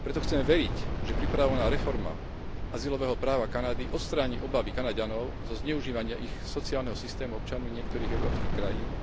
Preto chcem veriť, že pripravovaná reforma azylového práva Kanady odstráni obavy Kanaďanov zo zneužívania ich sociálneho systému občanmi niektorých európskych krajín